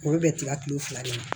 Olu bɛ tila tile fila de la